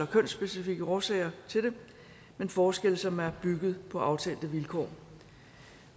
kønsspecifikke årsager til det men forskelle som er bygget på aftalte vilkår